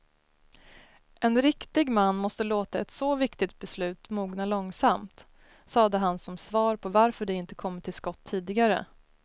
En riktig man måste låta ett så viktigt beslut mogna långsamt, sade han som svar på varför de inte kommit till skott tidigare.